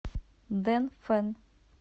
дэнфэн